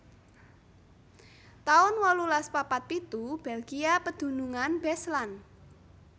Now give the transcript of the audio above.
taun wolulas papat pitu Belgia pedunungan Beslan